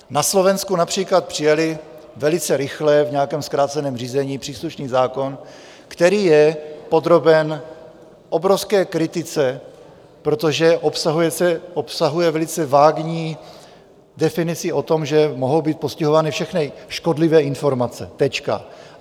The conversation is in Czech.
Na Slovensku například přijali velice rychle, v nějakém zkráceném řízení, příslušný zákon, který je podroben obrovské kritice, protože obsahuje velice vágní definici o tom, že mohou být postihovány všechny škodlivé informace, tečka.